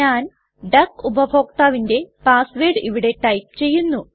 ഞാൻ ഡക്ക് ഉപഭോക്താവിന്റെ പാസ് വേർഡ് ഇവിടെ ടൈപ്പ് ചെയ്യുന്നു